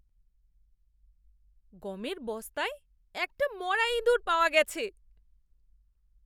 গমের বস্তায় একটা মরা ইঁদুর পাওয়া গেছে।